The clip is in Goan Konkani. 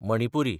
मणिपुरी